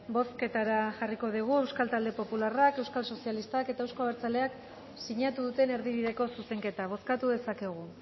bozketara jarriko dugu euskal talde popularrak euskal sozialistak eta euzko abertzaleak sinatu duten erdibideko zuzenketa bozkatu dezakegu